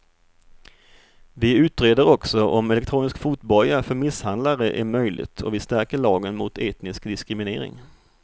Vi utreder också om elektronisk fotboja för misshandlare är möjligt och vi stärker lagen mot etnisk diskriminering.